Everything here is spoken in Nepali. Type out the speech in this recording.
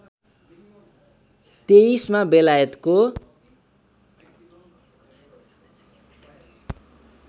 २३ मा बेलायतको